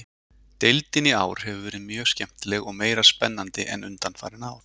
Deildin í ár hefur verið mjög skemmtileg og meira spennandi en undanfarin ár.